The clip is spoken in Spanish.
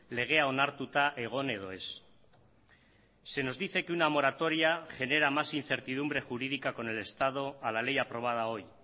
legea onartuta egon edo ez se nos dice que una moratoria genera más incertidumbre jurídica con el estado a la ley aprobada hoy